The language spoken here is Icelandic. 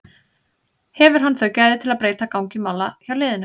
Hefur hann þau gæði til að breyta gangi mála hjá liðinu?